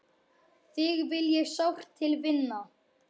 Þig vil ég sárt til vinna.